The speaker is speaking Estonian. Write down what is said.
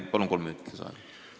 Palun kolm minutit lisaaega!